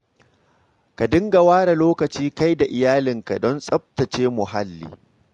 Ka dinga ware lokaci kai da iyalanka don tsaftace muhalli.